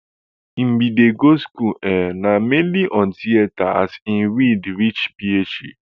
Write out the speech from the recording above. im bin dey go school um na mainly on theatre as im read reach phd